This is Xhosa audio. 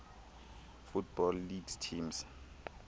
football league teams